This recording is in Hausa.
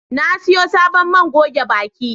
Na siyo sabon man goge baki